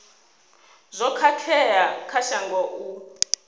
zwo khakhea kha shango u